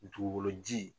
Dugukolo ji